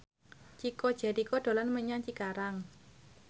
Chico Jericho dolan menyang Cikarang